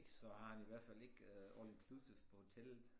Så har han i hvert fald ikke øh all inclusive på hotellet